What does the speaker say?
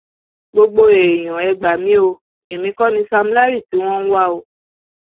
gbogbo èèyàn ẹ gbà mí o èmi kọ ni sam larry tí wọn ń wá o